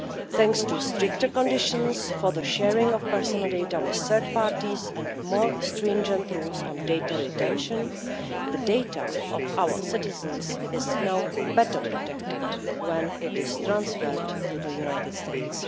Thanks to stricter conditions for the sharing of personal data with third parties, and more stringent rules on data retention, the data of our citizens is now better protected when it is transferred to the United States.